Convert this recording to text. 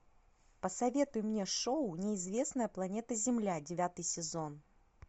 посоветуй мне шоу неизвестная планета земля девятый сезон